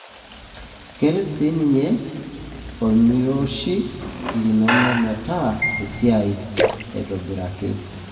keret sininye imorioshi linono metaasa esiai aitobiraki,